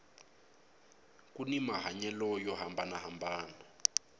kuni mahanyelo yo hambanana